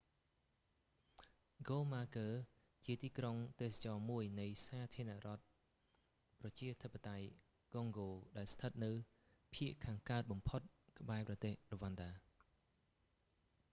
ហ្គូម៉ាគឺជាទីក្រុងទេសចរណ៍មួយនៃសាធារណរដ្ឋប្រជាធិបតេយ្យកុងហ្គោដែលស្ថិតនៅភាគខាងកើតបំផុតក្បែរប្រទេសរ្វ៉ាន់ដា